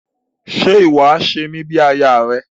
Ṣe iwọ a ṣe mi bí aya rẹ?